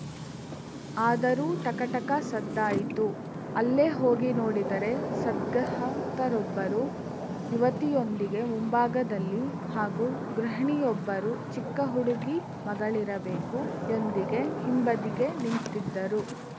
ಆದರೂ ಟಕ ಟಕ ಸದ್ದಾಯಿತು ಅಲ್ಲೇ ಹೋಗಿ ನೋಡಿದರೆ ಸದ್ಗಹತ್ತರೊಬ್ಬರು ಯುವತಿಯೊಂದಿಗೆ ಮುಂಭಾಗದಲ್ಲಿ ಹಾಗು ಗೃಹಿಣಿಯೊಬ್ಬರು ಚಿಕ್ಕ ಹುಡುಗಿ ಮಗಳಿರಬೇಕು ಯೊಂದಿಗೆ ಹಿಂಬದಿಗೆ ನಿಂತಿದ್ದರು